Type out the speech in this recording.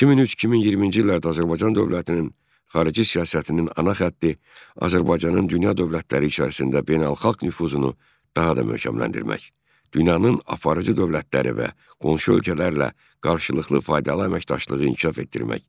2003-2020-ci illərdə Azərbaycan dövlətinin xarici siyasətinin ana xətti Azərbaycanın dünya dövlətləri içərisində beynəlxalq nüfuzunu daha da möhkəmləndirmək, dünyanın aparıcı dövlətləri və qonşu ölkələrlə qarşılıqlı faydalı əməkdaşlığı inkişaf etdirmək.